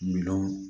Miliyɔn